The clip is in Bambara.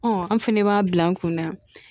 an fɛnɛ b'a bila an kun na